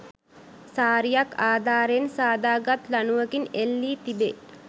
සාරියක් අධාරයෙන් සාදා ගත් ලණුවකින් එල්ලී තිබේ